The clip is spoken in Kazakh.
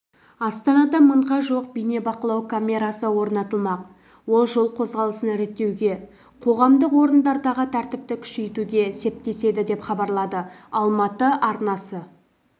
астанада мыңға жуық бейнебақылау камерасы орнатылмақ ол жол қозғалысын реттеуге қоғамдық орындардағы тәртіпті күшейтуге септеседі деп хабарлады алматы арнасы